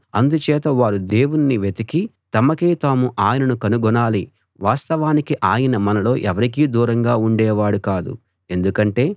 అందుచేత వారు దేవుణ్ణి వెతికి తమకై తాము ఆయనను కనుగొనాలి వాస్తవానికి ఆయన మనలో ఎవరికీ దూరంగా ఉండేవాడు కాదు ఎందుకంటే